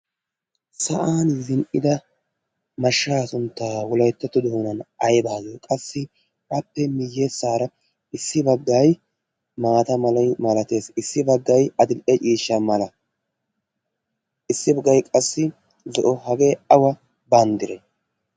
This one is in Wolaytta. sa7an zin77ida mashshaa sunttaa wulaittattu doonan ai baagee qassi appe miyyeessaara issi baggai maata maloi malatees. issi baggai adili7e ciishsha mala issi baggai qassi zo7o hagee awa banddire?